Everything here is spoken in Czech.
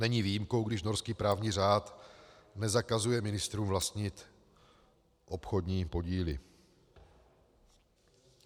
Není výjimkou, když norský právní řád nezakazuje ministrům vlastnit obchodní podíly.